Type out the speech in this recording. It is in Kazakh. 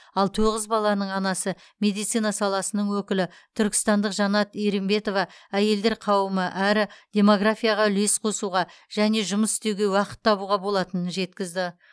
ал тоғыз баланың анасы медицина саласының өкілі түркістандық жанат еринбетова әйелдер қауымы әрі демографияға үлес қосуға және жұмыс істеуге уақыт табуға болатынын жеткізді